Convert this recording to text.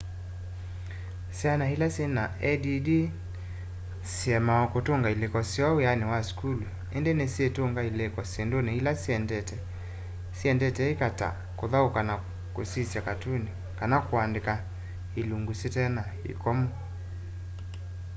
syana ila syina add ni siemawa kũtũnga ilĩko syoo wiani wa sukulu indi ni nisyitũnga ilĩko syinduni ila syendete ika ta kuthauka na kusyiisya katuni kana kuandika ilungu syitena ikomo